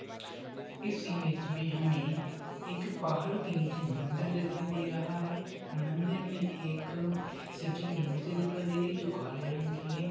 इस इमेज में हमें एक पहाड़ के नीचे मंदिर दिखाई दे रहा है मंदिर में एक शिव जी की मूर्ति दिखाई दे रही है जो काले रंग की है।